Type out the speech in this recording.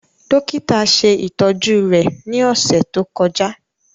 Dokita ṣe itọju rẹ ni ọsẹ to kọja.